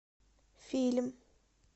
фильм